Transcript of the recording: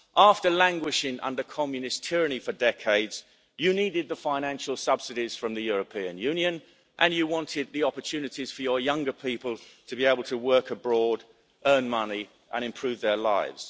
After languishing under communist tyranny for decades, you needed the financial subsidies from the European Union and you wanted the opportunities for your younger people to be able to work abroad, earn money and improve their lives.